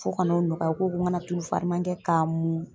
Fo ka n'o nɔgɔya u ko ko ŋana tulu fariman kɛ k'a mun.